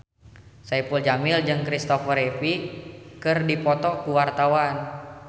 Saipul Jamil jeung Kristopher Reeve keur dipoto ku wartawan